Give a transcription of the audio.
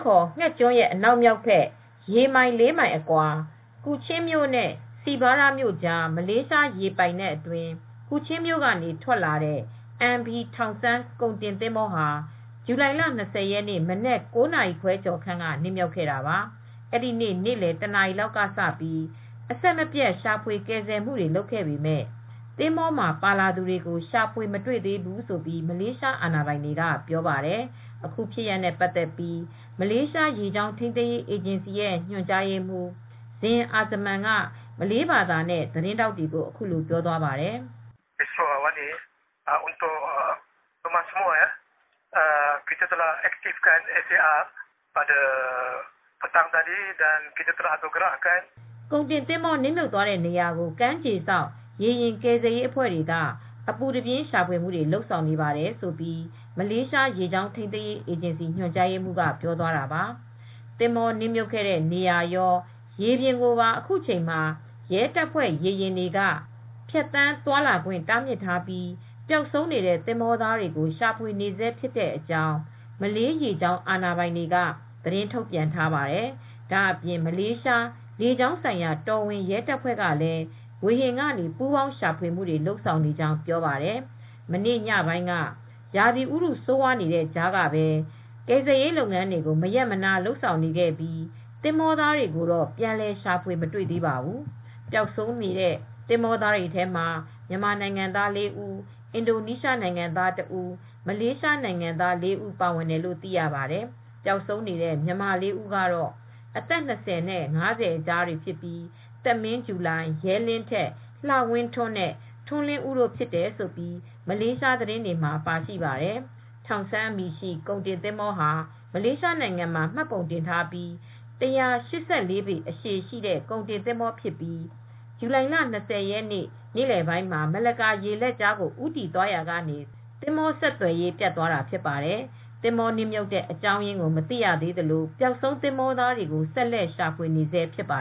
ခေါ် ဌက်ကျွန်းရဲ့ အနောက်မြောက်ဘက် ရေမိုင် ၄ မိုင်အကွာ၊ Kuching မြို့နဲ့ Sebuyau မြို့ ကြား မလေးရှား ရေပိုင်နက်အတွင်း Kuching မြို့ကနေ ထွက်လာတဲ့ MV Tung Sung ကုန်တင် သင်္ဘောဟာ ဇူလိုင်လ ၂၀ ရက် မနက် ၉ နာရီ ခွဲကျော်ခန့်က မှောက်သွားခဲ့တာပါ။ အဲဒီနေ့ နေ့လည် တနာရီလောက် ကစပြီး အဆက်မပြတ် ရှာဖွေ ကယ်ဆယ်မှုတွေ လုပ်ခဲ့ပေမဲ့ သင်္ဘောပေါ် ပါလာသူတွေကို ရှာဖွေ မတွေ့သေးဘူးလို့ မလေးရှား အာဏာပိုင်တွေက ပြောပါတယ်။ အခုဖြစ်ရပ်နဲ့ ပတ်သက်ပြီး မလေးရှား ရေကြောင်း ထိန်းသိမ်းရေး အေဂျင်စီရဲ့ ညွှန်ကြားရေးမှူး ဇင် အာဇမန် (Zin Azman) က မလေးဘာသာနဲ့ သတင်းထောက်တွေကို အခုလို ပြောသွားပါတယ်။ “ ကုန်တင်သင်္ဘော နစ်မြုပ်သွားတဲ့နေရာကို ကမ်းခြေစောင့် ရေယာဉ် ကယ်ဆယ်ရေးအဖွဲ့တွေက အပူးတပြင်း ရှာဖွေမှုတွေ လုပ်ဆောင်နေပါတယ်” - လို့ မလေးရှား ရေကြောင်း ထိန်းသိမ်းရေး အေဂျင်စီ ညွှန်ကြားရေးမှူးက ပြောသွားတာပါ။ သင်္ဘောနစ်မြှုပ်ခဲ့တဲ့ နေရာရော ရေပြင်ကိုပါ အခုချိန်မှာ ရဲတပ်ဖွဲ့ ရေယာဉ်တွေ ဖြတ်သန်းသွားလာခွင့် တားမြစ်ထားပြီး ပျောက်ဆုံးနေတဲ့ သင်္ဘောသားတွေကို ရှာဖွေနေဆဲဖြစ်တဲ့အကြောင်း မလေးရေကြောင်း အာဏာပိုင်တွေက သတင်းထုတ်ပြန်ထားပါတယ်။ ဒါ့အပြင် မလေးရှား လေကြောင်းဆိုင်ရာ တော်ဝင် ရဲတပ်ဖွဲ့ကလည်း ဝေဟင်ကနေ ပူးပေါင်း ရှာဖွေမှုတွေ လုပ်ဆောင်နေကြောင်း ပြောပါတယ်။ မနေ့ညပိုင်းက ရာသီဥတု ဆိုးရွားနေတဲ့ကြားမှာကိုပဲ ကယ်ဆယ်ရေးလုပ်ငန်းတွေကို မရပ်မနား လုပ်ဆောင်နေခဲ့ပြီး သင်္ဘောသားတွေကိုတော့ ပြန်လည် ရှာဖွေ မတွေ့သေးပါဘူး။ ပျောက်ဆုံးနေတဲ့ သင်္ဘောသားတွေထဲမှာ မြန်မာ နိုင်ငံသား ၄ ဦး၊ အင်ဒိုနီးရှားနိုင်ငံသား ၁ ဦး၊ မလေးရှားနိုင်ငံသား ၄ ဦး ပါဝင်တယ်လို့ သိရပါတယ်။ ပျောက်ဆုံးနေတဲ့ မြန်မာ ၄ ဦးကတော့ အသက် ၂၀ နဲ့ ၅၀ အကြားတွေဖြစ်ပြီး သက်မင်းဂျူလိုင်၊ ရဲလင်းထက်၊ လှဝင်းထွန်းနဲ့ ထွန်းလင်းဦးတို့ ဖြစ်တယ်လို့ မလေးရှားသတင်းတွေမှာ ပါရှိပါတယ်။ Tung Sung အမည်ရှိတဲ့ ကုန်တင်သင်္ဘောဟာ မလေးရှားနိုင်ငံမှာ မှတ်ပုံတင်ထားပြီး ၁၈၄ ပေ အရှည်ရှိတဲ့ ကုန်တင်သင်္ဘော ဖြစ်ပြီး ဇူလိုင် ၂၀ ရက်နေ့ နေလည်ပိုင်းမှာ မလက်ကာ ရေလက်ကြားကို ဦးတည်သွားနေရာကနေ သင်္ဘော ဆက်သွယ်ရေး ပြတ်သွားတာဖြစ်ပါတယ်။ သင်္ဘောနစ်မြှုပ်တဲ့ အကြောင်းရင်းကို မသိရသလို၊ ပျောက်ဆုံးသင်္ဘောသားတွေကို ဆက်လက်ရှာဖွေနေဆဲ ဖြစ်ပါ